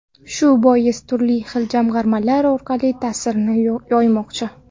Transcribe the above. Shu bois turli xil jamg‘armalar orqali ta’sirini yoymoqchi.